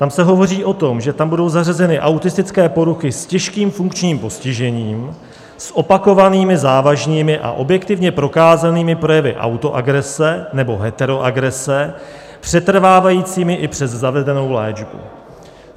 Tam se hovoří o tom, že tam budou zařazené autistické poruchy s těžkým funkčním postižením, s opakovanými závažnými a objektivně prokázanými projevy autoagrese nebo heteroagrese, přetrvávajícími i přes zavedenou léčbu.